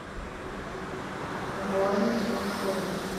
воин ушу